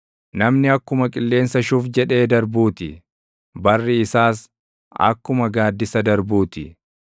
Namni akkuma qilleensa shuf jedhee darbuuti, barri isaas akkuma gaaddisa darbuu ti.